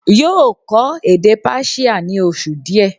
yóò kọ́ èdè Persia ní oṣù díẹ̀